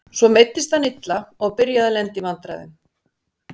Svo meiddist hann illa og byrjaði að lenda í vandræðum.